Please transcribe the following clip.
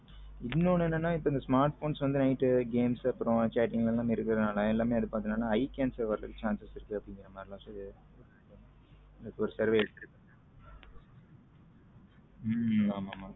இன்னொன்னு என்னன்னா இப்போ இந்த smartphones வந்த night games chatting எல்லாம் இருக்கிறதுனால எல்லாமே eye cancer வருவதற்கு chances இருக்குஅப்பிடிங்கிற மாரிலம் சொல்லிருகாங்க இப்போ ஒரு சர்வே எடுத்து இருக்காங்க உம் ஆமா ஆமா